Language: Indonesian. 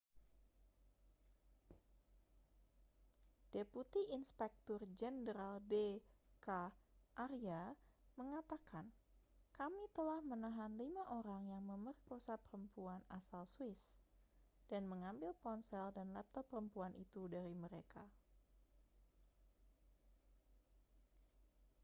deputi inspektur jenderal d k arya mengatakan kami telah menahan lima orang yang memerkosa perempuan asal swiss dan mengambil ponsel dan laptop perempuan itu dari mereka